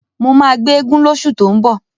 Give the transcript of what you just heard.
Mó máa gbé eégún lóṣù tó ń bọ̀.